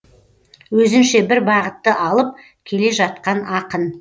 өзінше бір бағытты алып келе жатқан ақын